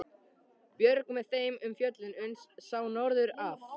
Björg með þeim um fjöllin uns sá norður af.